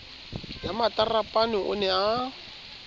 ya matarapane o ne a